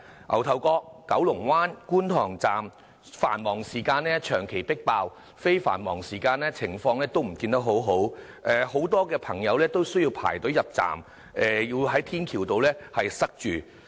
牛頭角、九龍灣和觀塘站在繁忙時間長期迫爆，非繁忙時間的情況也不見得很好，很多朋友需要排隊入站，人龍更塞到天橋上。